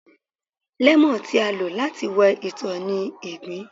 lẹmọọn, ti a lo lati wẹ itọ ni igbin.